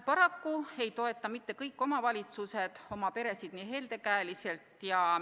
Paraku ei toeta mitte kõik omavalitsused peresid nii helde käega.